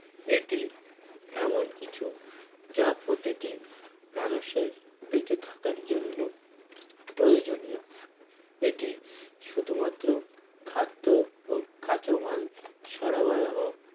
এটি এমন কিছু যা প্রতিটি মানুষের বেঁচে থাকার জন্য প্রয়োজনীয় এটি শুধু মাত্র খাদ্য ও কাঁচা মাল সরবরাহ